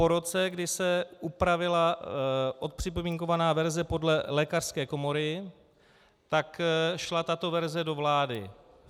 Po roce, kdy se upravila odpřipomínkovaná verze podle lékařské komory, tak šla tato verze do vlády.